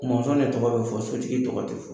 Mɔnsɔn de tɔgɔ bɛ fɔ sotigi tɔgɔ tɛ fɔ.